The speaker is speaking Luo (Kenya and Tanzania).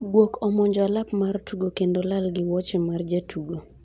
guok omonjo alap mar tugo kendo lal gi wuoche mar jatugo